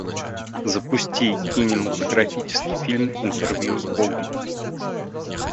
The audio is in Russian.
запусти кинематографический фильм интервью с богом